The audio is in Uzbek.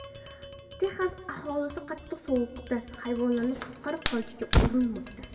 Texas aholisi qattiq sovuqda hayvonlarni qutqarib qolishga urinmoqda .